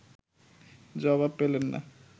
জবাব পেলেন না